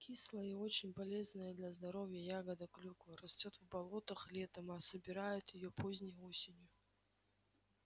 кислая и очень полезная для здоровья ягода клюква растёт в болотах летом а собирают её поздней осенью